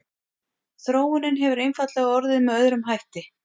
Þróunin hefur einfaldlega orðið með öðrum hætti.